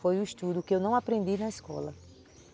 Foi o estudo que eu não aprendi na escola.